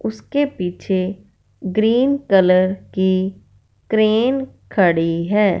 उसके पीछे green colour की क्रेन खड़ी है।